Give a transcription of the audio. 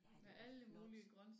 Ja det er jo flot